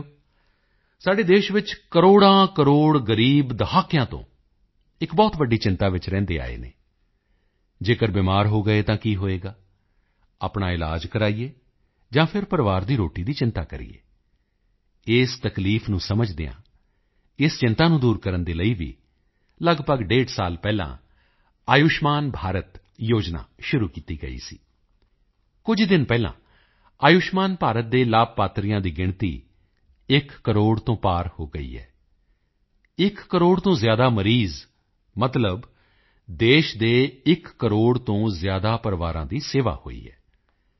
ਸਾਥੀਓ ਸਾਡੇ ਦੇਸ਼ ਵਿੱਚ ਕਰੋੜਾਂਕਰੋੜ ਗ਼ਰੀਬ ਦਹਾਕਿਆਂ ਤੋਂ ਇੱਕ ਬਹੁਤ ਵੱਡੀ ਚਿੰਤਾ ਵਿੱਚ ਰਹਿੰਦੇ ਆਏ ਹਨ ਅਗਰ ਬਿਮਾਰ ਹੋ ਗਏ ਤਾਂ ਕੀ ਹੋਵੇਗਾ ਆਪਣਾ ਇਲਾਜ ਕਰਵਾਈਏ ਜਾਂ ਫਿਰ ਪਰਿਵਾਰ ਦੀ ਰੋਟੀ ਦੀ ਚਿੰਤਾ ਕਰੀਏ ਇਸ ਤਕਲੀਫ਼ ਨੂੰ ਸਮਝਦਿਆਂ ਇਸ ਚਿੰਤਾ ਨੂੰ ਦੂਰ ਕਰਨ ਦੇ ਲਈ ਵੀ ਲਗਭਗ ਡੇਢ ਸਾਲ ਪਹਿਲਾਂ ਆਯੁਸ਼ਮਾਨ ਭਾਰਤ ਯੋਜਨਾ ਸ਼ੁਰੂ ਕੀਤੀ ਗਈ ਸੀ ਕੁਝ ਹੀ ਦਿਨ ਪਹਿਲਾਂ ਆਯੁਸ਼ਮਾਨ ਭਾਰਤ ਦੇ ਲਾਭਪਾਤਰੀਆਂ ਦੀ ਗਿਣਤੀ ਇੱਕ ਕਰੋੜ ਤੋਂ ਪਾਰ ਹੋ ਗਈ ਹੈ ਇੱਕ ਕਰੋੜ ਤੋਂ ਜ਼ਿਆਦਾ ਮਰੀਜ਼ ਮਤਲਬ ਦੇਸ਼ ਦੇ ਇੱਕ ਕਰੋੜ ਤੋਂ ਜ਼ਿਆਦਾ ਪਰਿਵਾਰਾਂ ਦੀ ਸੇਵਾ ਹੋਈ ਹੈ